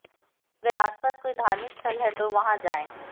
अगर आसपास कोई धार्मिक स्थल है तो वहां जाएं